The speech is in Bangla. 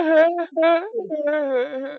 অরে হ্যাঁ হ্যাঁ হ্যাঁ হ্যাঁ হ্যাঁ